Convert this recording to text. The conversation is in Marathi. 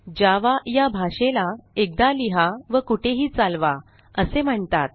जावा या भाषेला एकदा लिहा व कुठेही चालवा असे म्हणतात